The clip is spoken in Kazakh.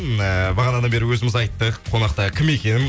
м э бағанадан бері өзіміз айттық қонақта кім екенін